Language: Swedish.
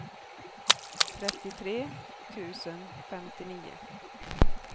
trettiotre tusen femtionio